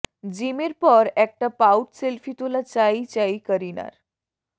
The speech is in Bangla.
জিমের পর একটা পাউট সেলফি তোলা চাই চাই করিনার